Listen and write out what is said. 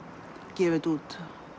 gefa þetta út